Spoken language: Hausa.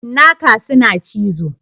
Cinnaka suna cizo.